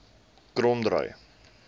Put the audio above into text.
kromdraai